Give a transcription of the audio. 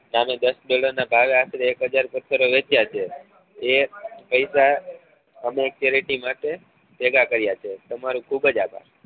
નાનો દસ બાર આશરે એક હજાર પત્થર વેચ્યા છે એ પૈસા અમે એક charity માટે ભેગા કર્યા છે તમારો ખુબ જ આભાર